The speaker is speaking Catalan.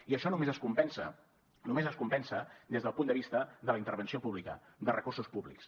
i això només es compensa només es compensa des del punt de vista de la intervenció pública de recursos públics